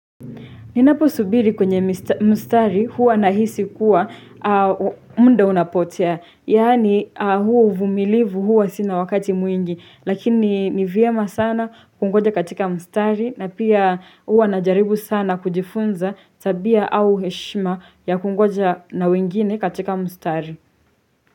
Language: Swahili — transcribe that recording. Ninapo subiri kwenye mstari huwa nahisi kuwa muda unapotea. Yani huo uvumilivu huwa sina wakati mwingi. Lakini nivyema sana kungoja katika mstari na pia huwa na jaribu sana kujifunza tabia au heshima ya kungoja na wengine katika mstari.